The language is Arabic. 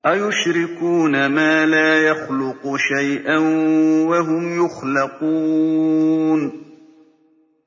أَيُشْرِكُونَ مَا لَا يَخْلُقُ شَيْئًا وَهُمْ يُخْلَقُونَ